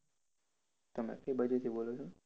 તમે કઇ બાજુથી બોલો છો?